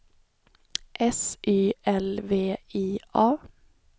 S Y L V I A